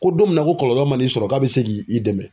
Ko don min na ko kɔlɔlɔ man'i sɔrɔ k'a be se k'i i dɛmɛ.